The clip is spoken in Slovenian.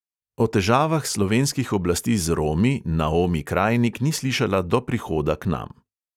O težavah slovenskih oblasti z romi naomi krajnik ni slišala do prihoda k nam.